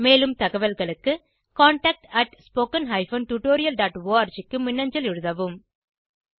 மேலும் தகவல்களுக்கு contactspoken tutorialorg க்கு மின்னஞ்சல் எழுதவும்